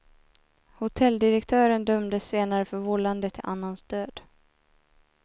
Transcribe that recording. Hotelldirektören dömdes senare för vållande till annans död.